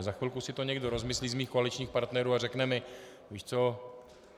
A za chvilku si to někdo rozmyslí z mých koaličních partnerů a řekne mi: Víš co?